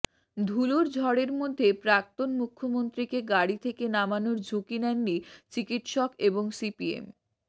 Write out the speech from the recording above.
ধুলোর ঝড়ের মধ্যে প্রাক্তন মুখ্যমন্ত্রীকে গাড়ি থেকে নামানোর ঝুঁকি নেননি চিকিৎসক এবং সিপিএম